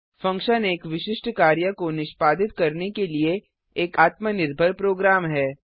function एक विशिष्ट कार्य को निष्पादित करने के लिए एक आत्मनिर्भर प्रोग्राम है